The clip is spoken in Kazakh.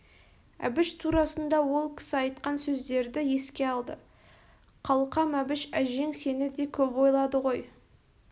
әбіш турасында ол кісі айтқан сөздерді еске алды қалқам әбіш әжең сені де көп ойлады ғой